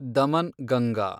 Daman Ganga